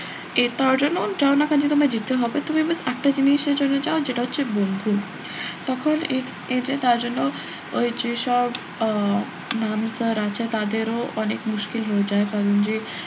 এ তার জন্য যাও না কারন তোমায় যেতে হবে তুমি একটা জিনিসের জন্য যাও যেটা হচ্ছে বন্ধু তখন এই যে তার জন্য ওই যে সব আহ ma'am sir আছে তাদেরও অনেক মুশকিল হয়ে যায় কারন যে,